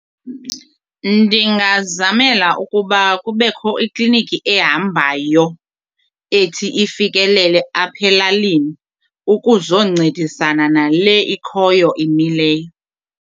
Ndingazamela ukuba kubekho ikliniki ehambayo ethi ifikelele apha elalini ukuzoncedisana nale ikhoyo imileyo.